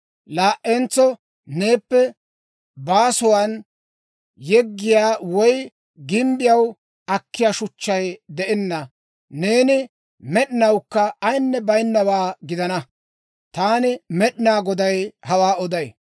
Laa"entso neeppe baasuwaan yeggiyaa woy gimbbiyaw akkiyaa shuchchay de'enna; neeni med'inawukka ayinne baynawaa gidanawaa. Taani Med'inaa Goday hawaa oday.